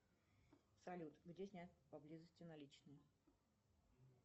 салют где снять поблизости наличные